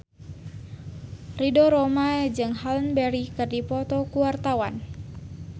Ridho Roma jeung Halle Berry keur dipoto ku wartawan